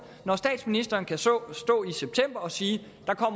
når statsministeren kan stå i september og sige